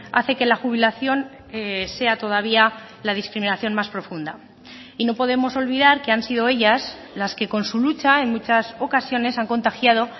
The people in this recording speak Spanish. hace que la jubilación sea todavía la discriminación más profunda y no podemos olvidar que han sido ellas las que con su lucha en muchas ocasiones han contagiado